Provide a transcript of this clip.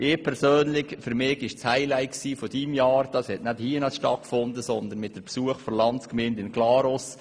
Für mich persönlich war das Highlight deines Präsidialjahres eines, das nicht hier stattfand, sondern beim Besuch der Landsgemeinde in Glarus.